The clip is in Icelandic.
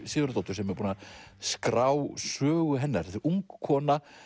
Sigurðardóttur sem er búin að skrá sögu hennar þetta er ung kona